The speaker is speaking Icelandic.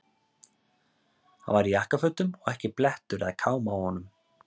Hann var í jakkafötum og ekki blettur eða káma á honum.